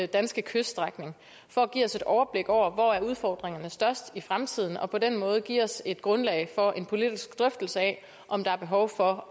danske kyststrækning for at give os et overblik over hvor udfordringerne er størst i fremtiden for på den måde at give os et grundlag for en politisk drøftelse af om der er behov for